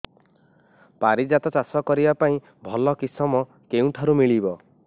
ପାରିଜାତ ଚାଷ କରିବା ପାଇଁ ଭଲ କିଶମ କେଉଁଠାରୁ ମିଳିବ